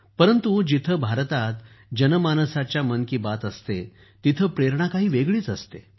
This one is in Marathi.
परंतु जेथे भारतात जनमानसात मन की बात असते तेथे प्रेरणा काही वेगळीच असते